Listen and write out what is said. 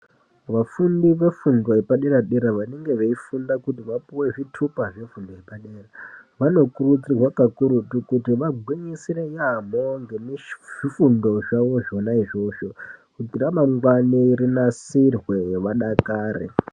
Vafundi vefundo yepadere-dera vanenge veifunda kuti vapuwe zvitupa zvafundo yepadera vanokurudzirwa kakurutu kuti vagwinyisire yaambo ngezvifundo zvavo zvona izvozvo. Kuti ramangwani ravo rinasirwe vadakare.